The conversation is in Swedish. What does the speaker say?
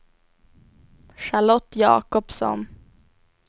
Charlotte Jakobsson